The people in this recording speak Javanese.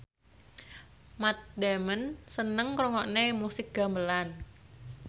Matt Damon seneng ngrungokne musik gamelan